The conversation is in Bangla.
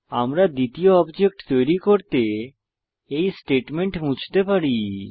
আমরা দ্বিতীয় অবজেক্ট তৈরি করতে এই স্টেটমেন্ট মুছতে পারি